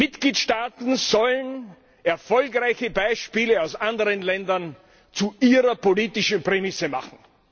Mitgliedstaaten sollen erfolgreiche Beispiele aus anderen Ländern zu ihrer politischen Prämisse machen.